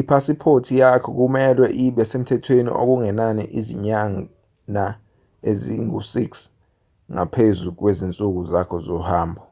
iphasiphoti yakho kumelwe ibe semthethweni okungenani izinyana ezingu-6 ngaphezu kwezinsuku zakho zohambo